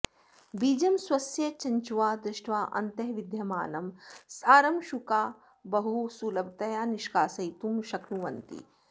बीजं स्वस्य चञ्च्वा दष्ट्वा अन्तः विद्यमानं सारं शुकाः बहु सुलभतया निष्कासयितुं शक्नुवन्ति